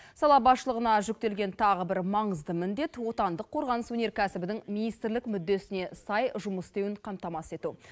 сала басшылығына жүктелген тағы бір маңызды міндет отандық қорғаныс өнеркәсібінің министрлік мүддесіне сай жұмыс істеуін қамтамасыз ету